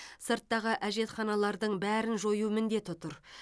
сырттағы әжетханалардың бәрін жою міндеті тұр